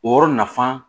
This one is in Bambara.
O yɔrɔ nafan